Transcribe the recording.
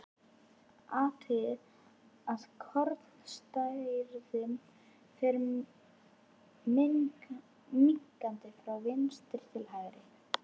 Athugið að kornastærðin fer minnkandi frá vinstri til hægri.